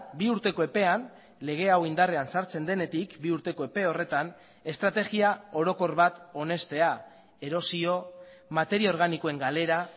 bi urteko epean lege hau indarrean sartzen denetik bi urteko epe horretan estrategia orokor bat onestea erosio materia organikoen galera